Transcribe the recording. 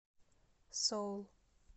соул